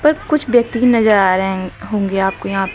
कुछ व्यक्ति नजर आ रहे है होंगे आपको यहां पे।